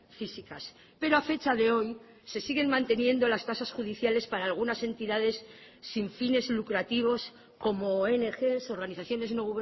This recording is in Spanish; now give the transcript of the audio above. físicas pero ha fecha de hoy se siguen manteniendo las tasas judiciales para algunas entidades sin fines lucrativos como ong organizaciones no